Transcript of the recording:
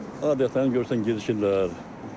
Adətən görürsən gecişirlər.